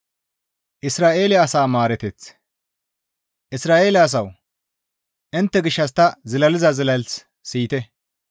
Isra7eele asawu! Intte gishshas ta zilaliza zilas siyite.